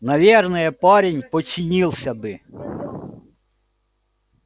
наверное парень подчинился бы